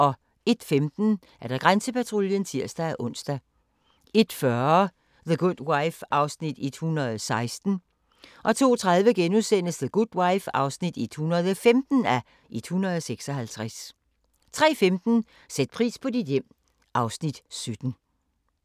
01:15: Grænsepatruljen (tir-ons) 01:40: The Good Wife (116:156) 02:30: The Good Wife (115:156)* 03:15: Sæt pris på dit hjem (Afs. 17)